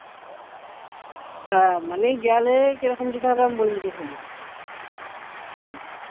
হ্যাঁ মানে গেলে কি রকম যেতে হবে আমি বলে দিচ্ছি শোনো hello